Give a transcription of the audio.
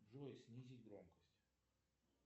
джой снизить громкость